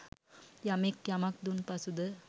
යමෙක් යමක් දුන් පසු ද